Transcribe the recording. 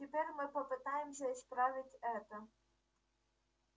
теперь мы попытаемся исправить это